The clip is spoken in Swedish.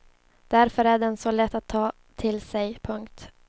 Därför är den så lätt att ta till sig. punkt